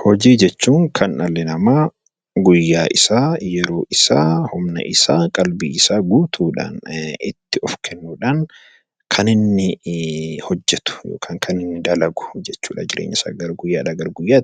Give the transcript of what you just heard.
Hojii jechuun kan dhalli namaa umurii isaa, yeroo isaa , qalbii isaa guutuu kennuudhaan kan inni hojjetu , kan inni dalagu jechuudha.